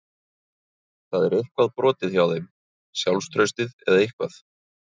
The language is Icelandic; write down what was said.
Það er eitthvað brotið hjá þeim, sjálfstraustið eða eitthvað.